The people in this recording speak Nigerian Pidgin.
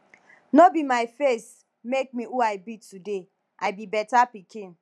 no be my face make me who i be today i be beta pikin